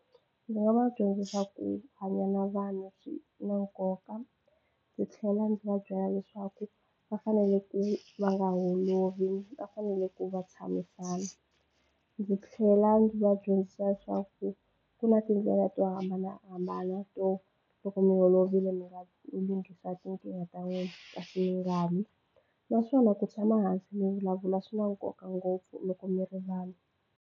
Ndzi nga va dyondzisa ku hanya na vanhu swi na nkoka ndzi tlhela ndzi va byela leswaku va fanele ku va nga holovi va fanele ku va tshamisana ndzi tlhela ndzi va dyondzisa leswaku ku na tindlela to hambanahambana to loko mi holovile mi nga lunghisa tinkingha ta wena kasi mi nga lwi naswona ku tshama hansi mi vulavula swi na nkoka ngopfu loko mi ri vanhu.